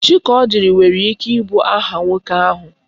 Chikaọdiri nwere ike ịbụ aha nwoke ahụ